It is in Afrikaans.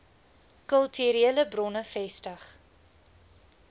kulturele bronne vestig